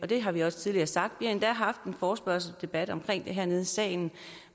det har vi også tidligere sagt har endda haft en forespørgselsdebat om det hernede i salen